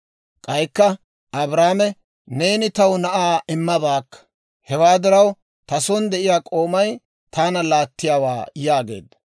K'aykka Abraame, «Neeni taw na'aa immabaakka; hewaa diraw ta son de'iyaa k'oomay taana laattiyaawaa» yaageedda.